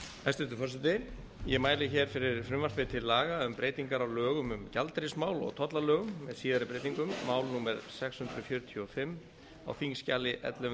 hæstvirtur forseti ég mæli hér fyrir frumvarpi til laga um breytingar á lögum um gjaldeyrismál og tollalögum með síðari breytingum mál númer sex hundruð fjörutíu og fimm á þingskjali ellefu hundruð